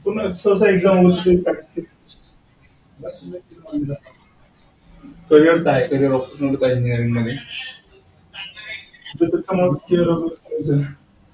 हा तस exam होऊन carrier तर आहे. carrier option आहेत engineering मध्ये.